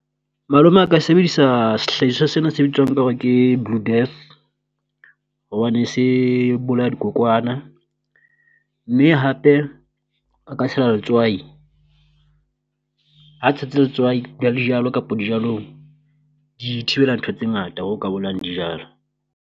Malome a ka sebedisa sehlahiswa sena se bitswang ka hore ke Blue Death, hobane se bolaya dikokwana mme hape a ka tshela letswai. Ha tshetse letswai kapo dijalong di thibela ntho tse ngata ho ka bolayang dijalo.